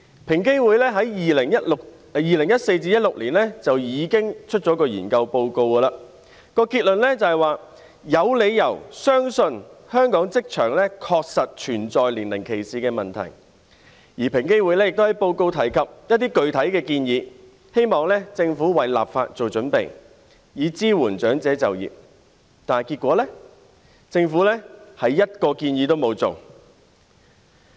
平等機會委員會在2014年至2016年進行了一項研究，報告結論指有理由相信香港職場確實存在年齡歧視問題；而平機會亦在報告內提出一些具體建議，希望政府為立法作準備，以支援長者就業，但結果是政府連一項建議也沒有實行。